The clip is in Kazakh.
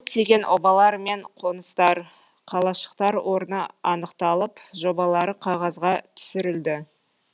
көптеген обалар мен қоныстар қалашықтар орны анықталып жобалары қағазға түсірілді